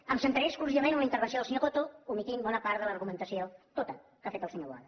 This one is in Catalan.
em centraré exclusivament en la intervenció del senyor coto i ometré bona part de l’argumentació tota que ha fet el senyor boada